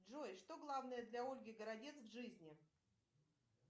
джой что главное для ольги городец в жизни